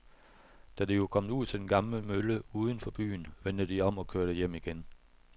Da de var kommet ud til den gamle mølle uden for byen, vendte de om og kørte hjem igen.